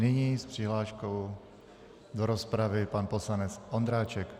Nyní s přihláškou do rozpravy pan poslanec Ondráček.